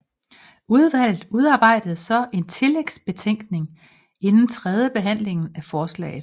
Udvalget udarbejder så en tillægsbetænkning inden tredjebehandlingen af forslaget